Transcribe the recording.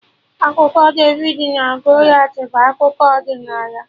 Akụkọ David na Goliath bụ akụkọ ọdịnala